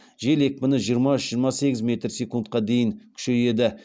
жел екпіні жиырма үш жиырма сегіз метр секундқа дейін күшейеді